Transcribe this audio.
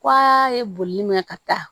K'a ye boli min mɛ ka taa